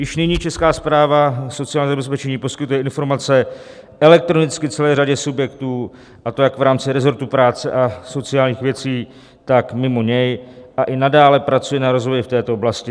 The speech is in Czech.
Již nyní Česká správa sociálního zabezpečení poskytuje informace elektronicky celé řadě subjektů, a to jak v rámci resortu práce a sociálních věcí, tak mimo něj, a i nadále pracuje na rozvoji v této oblasti.